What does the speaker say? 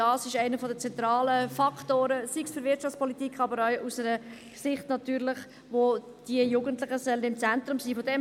Auch das ist einer der zentralen Faktoren, sei es für die Wirtschaftspolitik, aber natürlich auch aus einer Sicht, wo die Jugendlichen im Zentrum sein sollen.